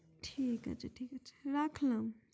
ঠিক আছে ঠিক আছে রাখলাম